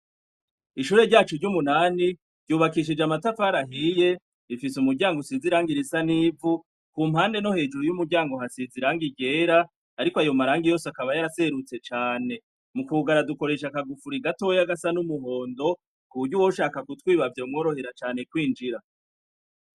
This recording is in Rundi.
Ishure ryacu ry'umunani, ryubakishije amatafari ahiye, rifise umuryango usize irangi risa n'ivu, ku mpande no hejuru y'umuryango hasize irangi ryera, ariko ayo marangi yose akaba yaraserutse cane mu kugara dukoresha akagufuri gatoya gasa n'umuhondo kuburyo uwoshaka kutwiba vyo mworohera cane kwinjira.